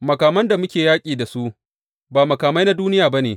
Makaman da muke yaƙi da su, ba makamai na duniya ba ne.